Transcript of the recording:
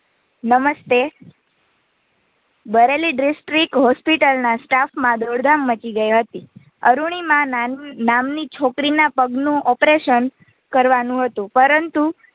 નમ્સ્તે Bareilly district Hospital ના Staff માં દોડધામ મચી ગઈ હતી. અરૂણિમા નામની છોકરી ના પગનું Operation કરવાનું હતું પરંતુ